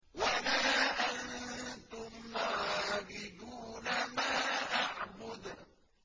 وَلَا أَنتُمْ عَابِدُونَ مَا أَعْبُدُ